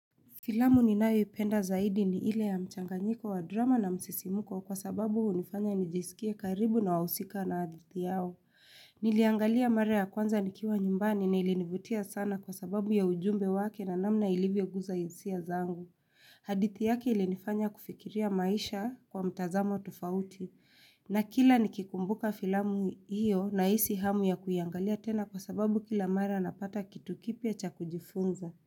Filamu ninayoipenda zaidi ni ile ya mchanganyiko wa drama na msisimuko kwa sababu hunifanya nijisikie karibu na wahusika na hadithi yao. Niliangalia mara ya kwanza nikiwa nyumbani na ilinivutia sana kwa sababu ya ujumbe wake na namna ilivyo guza hisia zangu. Hadithi yake ilinifanya kufikiria maisha kwa mtazamo tofauti na kila nikikumbuka filamu hiyo nahisi hamu ya kuiangalia tena kwa sababu kila mara napata kitu kipya cha kujifunza.